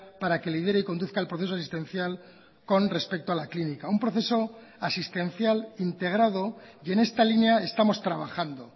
para que lidere y conduzca el proceso asistencial con respecto a la clínica un proceso asistencial integrado y en esta línea estamos trabajando